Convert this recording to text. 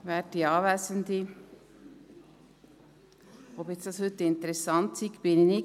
Ich bin nicht ganz sicher, ob es jetzt heute interessant ist.